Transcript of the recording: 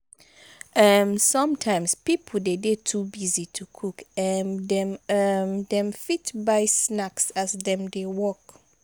um sometimes pipo de dey too busy to cook um dem um dem fit buy snacks as dem dey work